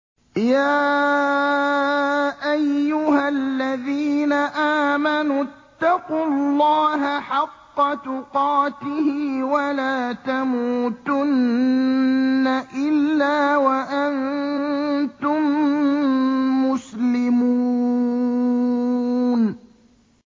يَا أَيُّهَا الَّذِينَ آمَنُوا اتَّقُوا اللَّهَ حَقَّ تُقَاتِهِ وَلَا تَمُوتُنَّ إِلَّا وَأَنتُم مُّسْلِمُونَ